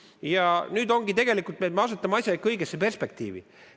Ja nüüd ongi tegelikult nii, et me asetame asjad õigesse perspektiivi.